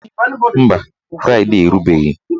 Mba, fraịdee erubeghị